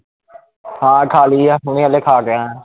ਹਾਂ ਖਾਲੀ ਆ ਹੁਣੇ ਹਲੇ ਖਾ ਕੇ ਆਇਆ